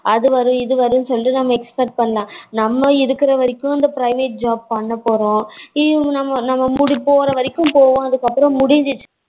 அது வரும் இது வரும்னு சொல்லி நம்ம expect பண்ணலாம் நம்ம இருக்குற வரைக்கும் இந்த private job பண்ண போறோம். இவங்க நம்ம நம்ம போற வரைக்கும் போவோம். அப்புறம் முடிஞ்சிருச்சு